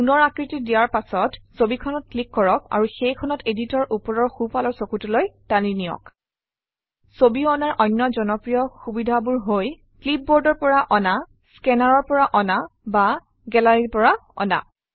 পুনৰ আকৃতি দিয়াৰ পাছত ছবিখনত ক্লিক কৰক আৰু সেইখনক editor অৰ ওপৰৰ সোঁফালৰ চুকটোলৈ টানি নিয়ক ছবি অনাৰ অন্য জনপ্ৰিয় সুবিধাবোৰ হৈ ক্লিপবৰ্ডৰ পৰা অনা স্কেনাৰৰ পৰা অনা বা গেলাৰীৰ পৰা অনা